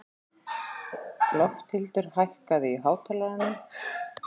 Lofthildur, hækkaðu í hátalaranum.